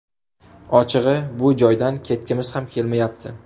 Ochig‘i, bu joydan ketgimiz ham kelmayapti.